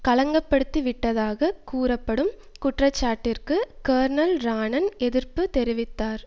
களங்கப்படுத்தி விட்டதாகக் கூறப்படும் குற்றச்சாட்டிற்கு கேர்னல் ரான்னன் எதிர்ப்பு தெரிவித்தார்